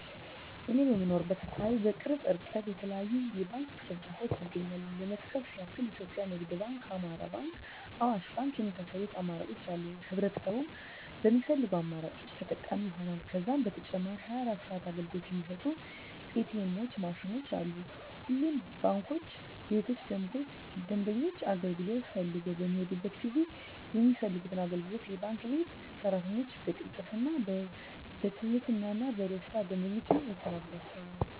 እኔ በምኖርበት አካባቢ በቅርብ እርቀት የተለያዩ የባንክ ቅርንጫፎች ይገኛሉ ለመጥቀስ ያክል ኢትዮጵያ ንግድ ባንክ፣ አማራ ባንክ፣ አዋሽ ባንክ የመሳሰሉት አማራጮች አሉ ህብረተሰቡም በሚፈልገው አማራጮች ተጠቃሚ ይሆናሉ። ከዛም በተጨማሪ 24 ሰዓት አገልግሎት የሚሰጡ ኢ.ቲ. ኤምዎች ማሽኖችም አሉ። ሁሉም ባንክ ቤቶች ደንበኞች አገልግሎት ፈልገው በሚሔዱበት ጊዜ የሚፈልጉትን አገልግሎት የባንክ ቤት ሰራተኞች በቅልጥፍና፣ በትህትና እና በደስታና ደንበኞቻቸውን ያስተናግዷቸዋል! ዠ።